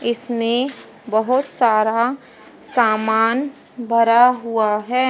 इसमें बहोत सारा सामान भरा हुआ है।